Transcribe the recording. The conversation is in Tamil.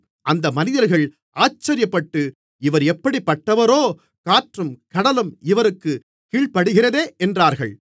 அந்த மனிதர்கள் ஆச்சரியப்பட்டு இவர் எப்படிப்பட்டவரோ காற்றும் கடலும் இவருக்குக் கீழ்ப்படிகிறதே என்றார்கள்